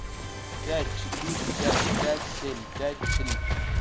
пять четыре пять пять семь пять три